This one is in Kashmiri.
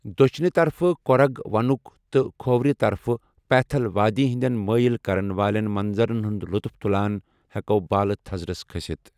دٔچھنہِ طرفہٕ کوٗرگ وَنُک تہٕ کھوورِ طرفہٕ پَیتھل وادی ہِنٛدین مٲیِل کَرن والیٚن منظرن ہُنٛد لُطُف تُلان ہیٚکو بالہٕ تھزرس کٔھسِتھ ۔